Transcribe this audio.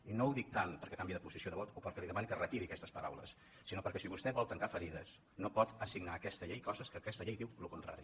i no ho dic tant perquè canviï de posició de vot o perquè li demani que retiri aquestes paraules sinó perquè si vostè vol tancar ferides no pot assignar a aquesta llei coses que aquesta llei en diu el contrari